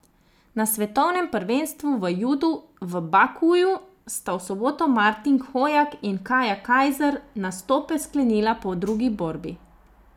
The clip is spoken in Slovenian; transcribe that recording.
Na svetovnem prvenstvu v judu v Bakuju sta v soboto Martin Hojak in Kaja Kajzer nastope sklenila po drugi borbi.